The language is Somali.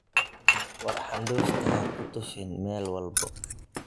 War handufta hakutufin Mel walbo.